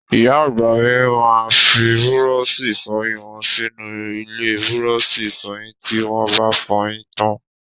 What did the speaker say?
Ìyá àgbà mi máa fi búrọ́ọ̀ṣì ìfọyín wọn sínú ilé búrọ́ọ̀ṣì ìfọyín tí wọ́ ba fọyín tán.